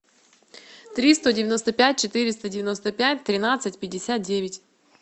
три сто девяносто пять четыреста девяносто пять тринадцать пятьдесят девять